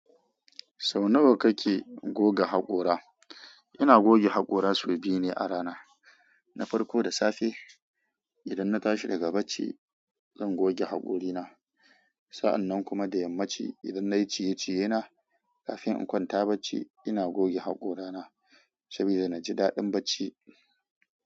Sau nawa kake goga haƙora? Ina goge haƙora sau biyu ne a rana. Na farko da safe idan na tashi daga bacci zan goge hakorina. Sa'annan kuma da yammaci idan nayi ciye-ciye na kafin in kwanta bacci ina goge haƙorana saboda naji daɗin bacci.